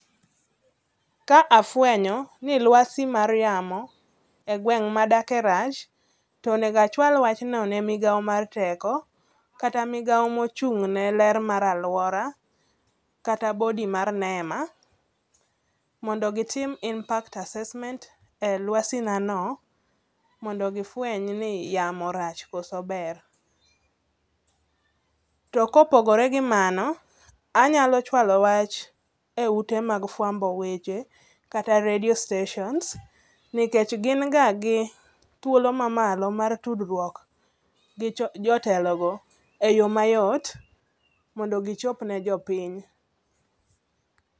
Ka afwenyo ni luasi mar yamo e gweng' madake rach, to onego achwal wachno ne migawo mar teko kata migawo mochung'ne ler mar alwora kata body mar NEMA mondo gitim Impact Assesment e luasinano mondo gifweny ni yamo rach koso ber. To kopogore gi mano, anyalo chwalo wach e ute mag fwambo weche kata radio stations nikech gin ga gi thuolo mamalo mar tudruok gi jotelogo e yo mayot mondo gichop ne jopiny.